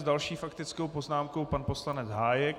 S další faktickou poznámkou pan poslanec Hájek.